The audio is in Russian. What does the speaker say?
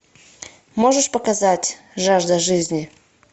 можешь показать жажда жизни